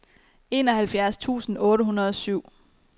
enoghalvfjerds tusind otte hundrede og syv